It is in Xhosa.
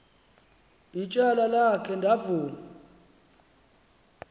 ityala akhe ndavuma